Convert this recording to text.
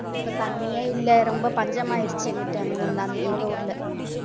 இப்ப தண்ணியே இல்ல ரொம்ப பஞ்சம் ஆயிடுச்சு அங்கிட்ட எங்க ஊர்ல